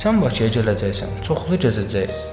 Sən Bakıya gələcəksən, çoxlu gəzəcəyik.